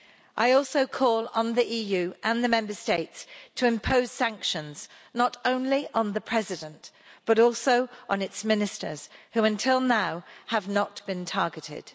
I also call on the EU and the Member States to impose sanctions, not only on the President, but also on its ministers who, until now, have not been targeted.